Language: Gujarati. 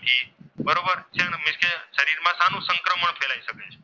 થઈ શકે છે.